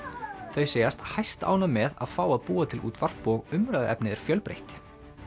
þau segjast hæstánægð með að fá að búa til útvarp og umræðuefnið er fjölbreytt